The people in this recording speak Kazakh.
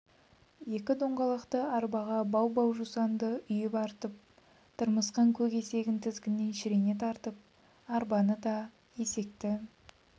екі доңғалақты арбаға бау-бау жусанды үйіп артып тырмысқан көк есегін тізгінінен шірене тартып арбаны да есекті